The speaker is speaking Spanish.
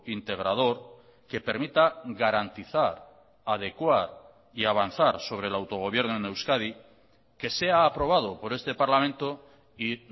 integrador que permita garantizar adecuar y avanzar sobre el autogobierno en euskadi que sea aprobado por este parlamento y